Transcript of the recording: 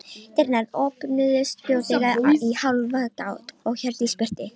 Dyrnar opnuðust fljótlega í hálfa gátt og Hjördís birtist.